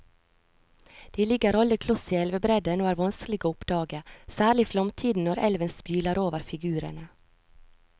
De ligger alle kloss i elvebredden og er vanskelige å oppdage, særlig i flomtiden når elven spyler over figurene.